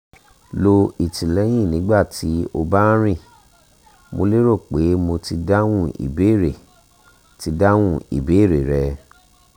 lo ìtìlẹyìn nígbà tí o bá ń rìn mo lérò pé mo ti dáhùn ìbéèrè ti dáhùn ìbéèrè rẹ